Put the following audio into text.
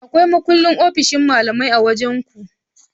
Akwai makullin ofshin malamai a wajan ku?